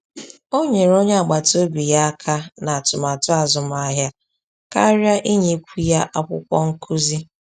O nyere onye agbata obi ya aka ná atụmatụ azụmahịa karịa inyekwu ya akwụkwọ nkụzi